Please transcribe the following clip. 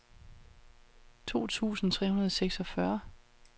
to tusind tre hundrede og seksogfyrre